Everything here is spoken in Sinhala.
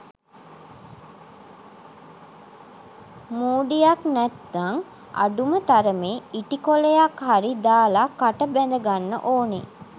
මූඩියක් නැත්නං අඩුම තරමෙ ඉටි කොලයක් හරි දාල කට බැඳගන්න ඕනෙ.